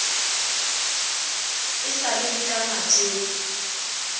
e sa le ka matjeke